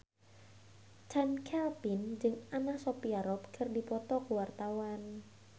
Chand Kelvin jeung Anna Sophia Robb keur dipoto ku wartawan